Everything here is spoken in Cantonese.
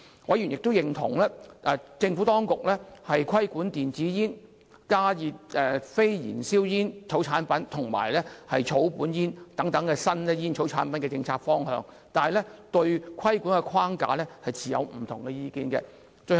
委員亦認同政府當局規管電子煙、加熱非燃燒煙草產品及草本煙等新煙草產品的政策方向，但對規管的框架持不同意見。